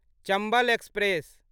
Chambal express